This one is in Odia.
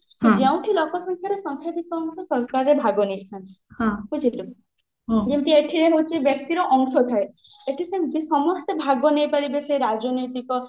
ଯେଉଁଠି ଲୋକ ସଂଖ୍ଯାର ସଂଖ୍ୟାଧିକ ଆମକୁ ଭାଗ ନେଇଥାନ୍ତି ବୁଝିଲୁ ଯେମତି ଏଠି ହଉଛି ବ୍ୟକ୍ତି ର ଅଂଶ ଥାଏ ଏଠି ସେମତି ସମସ୍ତେ ଭାଗ ନେଇ ପାରିବେ ସେ ରାଜନୈତିକ